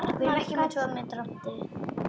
Arnar gapti.